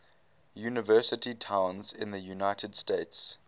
university towns in the united states